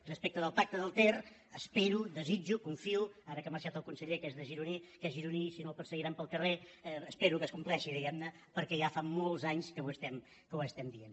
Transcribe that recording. respecte del pacte del ter espero desitjo confio ara que ha marxat el conseller que és gironí si no el per seguiran pel carrer que es compleixi diguem ne perquè ja fa molts anys que ho estem dient